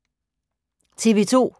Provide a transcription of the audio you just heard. TV 2